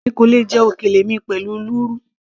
èmi kò lè jẹ òkèlè mi pẹ̀lú lúrú